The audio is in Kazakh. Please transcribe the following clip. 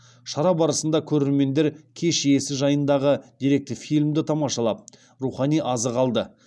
шара барысында көрермендер кеш иесі жайындағы деректі фильмді тамашалап рухани азық алды